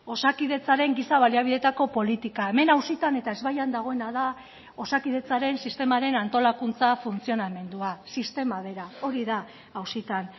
osakidetzaren giza baliabideetako politika hemen auzitan eta ezbaian dagoena da osakidetzaren sistemaren antolakuntza funtzionamendua sistema bera hori da auzitan